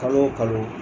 Kalo o kalo